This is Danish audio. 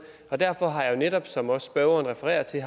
og derfor har jeg jo netop som spørgeren også refererer til i